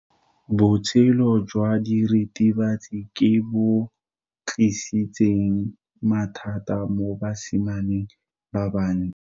Botshelo jwa diritibatsi ke bo tlisitse mathata mo basimaneng ba bantsi.